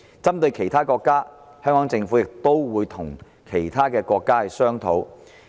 針對其他國家的情況，香港政府亦會與有關的國家商討。